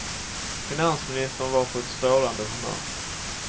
Finansministern var på ett strålande humör.